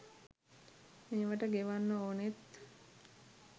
මේවට ගෙවන්න ඕනෙත්